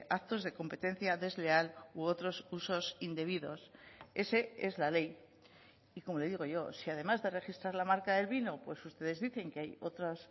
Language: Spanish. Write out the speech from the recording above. actos de competencia desleal u otros usos indebidos ese es la ley y como le digo yo si además de registrar la marca del vino pues ustedes dicen que hay otros